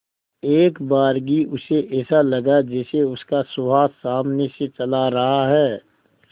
एकबारगी उसे ऐसा लगा जैसे उसका सुहास सामने से चला रहा है